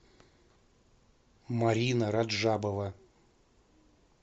марина раджабова